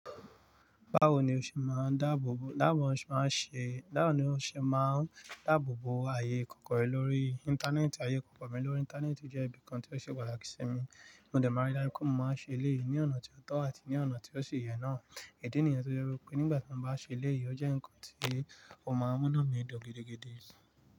Báwo ni o ṣe máa ń dáàbò bo, báwo ni o ṣe máa ń ṣe, báwo ni o ṣe máa ń dáàbò bo ayé ìkọ̀kọ̀ rẹ lórí Íńtánẹ́ẹ̀tì? Ayé ìkọ̀kọ̀ mi lórí Íńtánẹ́ẹ̀tì jẹ́ ibìkan tí ó ṣe pàtàkì sí mi, mo dẹ̀ máa rí dájú pé mo máa ń ṣe léèý ní ọ̀nà tí ó tọ́ àti ní ọ̀nà tí ó ṣe yẹ náà. Idi nìyàn tó jẹ́ pé nígbà tí mo bá ṣe elèýi ó jẹ́ ǹkan tí ó máa ń mú inu mi dùn gidi gan.